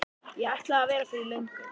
Ég ætlaði að vera fyrir löngu.